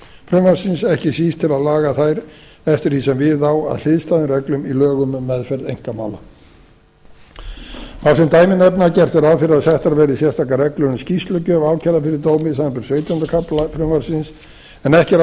frumvarpsins ekki síst til að laga þær eftir því sem við á að hliðstæðum reglum í lögum um meðferð einkamála má sem dæmi nefna að gert er ráð fyrir að settar verði sérstakar reglur um skýrslugjöf ákærða fyrir dómi samanber sautjánda kafla frumvarpsins en